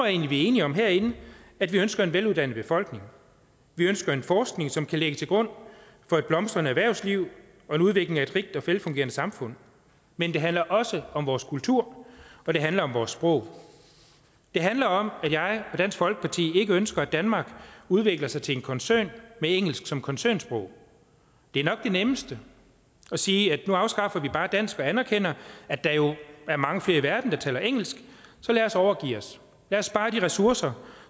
er enige om herinde at vi ønsker en veluddannet befolkning vi ønsker en forskning som kan ligge til grund for et blomstrende erhvervsliv og en udvikling af et frit og velfungerende samfund men det handler også om vores kultur og det handler om vores sprog det handler om at jeg og dansk folkeparti ikke ønsker at danmark udvikler sig til en koncern med engelsk som koncernsprog det er nok det nemmeste at sige at nu afskaffer vi bare dansk og anerkender at der jo er mange flere i verden der taler engelsk så lad os overgive os lad os spare de ressourcer